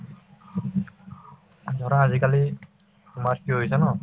ধৰা আজিকালি কি হৈছে ন